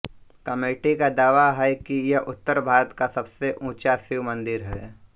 committee का दावा है कि यह उत्तर भारत का सबसे ऊंचा शिव मंदिर है